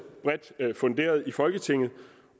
bredt funderet i folketinget